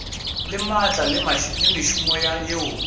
le maatla le mešomo yeo